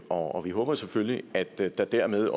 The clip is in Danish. og vi håber selvfølgelig at der dermed